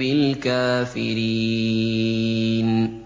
بِالْكَافِرِينَ